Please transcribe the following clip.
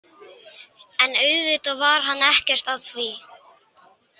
En auðvitað var hann ekkert að því.